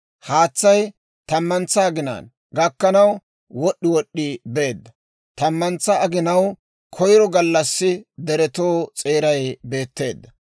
Haatsay tammantsa aginay gakkanaw wod'd'i wod'd'i beedda; tammantsa aginaw koyro gallassi deretoo s'eeray beetteedda.